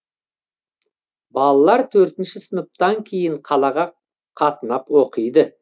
балалар төртінші сыныптан кейін қалаға қатынап оқиды